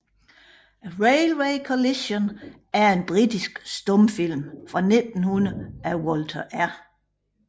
A Railway Collision er en britisk stumfilm fra 1900 af Walter R